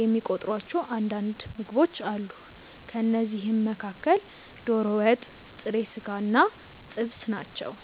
የሚቆጥሯቸው አንዳንድ ምግቦች አሉ። ከእነዚህም መካከል ዶሮ ወጥ፣ ጥሬ ስጋ እና ጥብስ ናቸው።